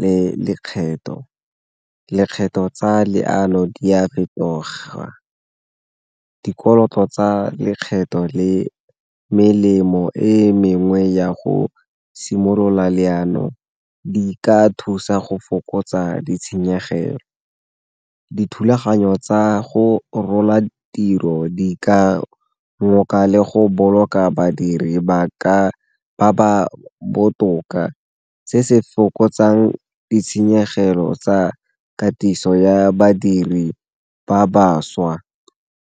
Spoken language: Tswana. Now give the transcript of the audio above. le lekgetho, lekgetho tsa di a fetoga. Dikoloto tsa lekgetho le melemo e mengwe ya go simolola leano di ka thusa go fokotsa ditshenyegelo. Dithulaganyo tsa go rola tiro di ka ngoka le go boloka badiri ba ba botoka, se se fokotsang ditshenyegelo tsa katiso ya badiri ba bašwa.